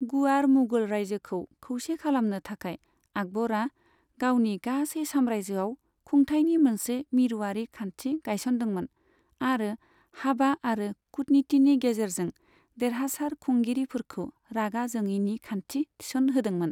गुवार मुगल रायजोखौ खौसे खालामनो थाखाय, आकबरा गावनि गासै साम्रायजोआव खुंथायनि मोनसे मिरुआरि खान्थि गायसनदोंमोन आरो हाबा आरो कूटनितिनि गेजेरजों देरहासार खुंगिरिफोरखौ रागा जोङिनि खान्थि थिसनहोदोंमोन।